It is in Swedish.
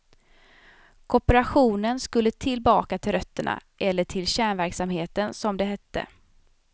Kooperationen skulle tillbaka till rötterna, eller till kärnverksamheten som det hette.